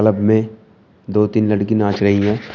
Pub में दो तीन लड़की नाच रहीं हैं।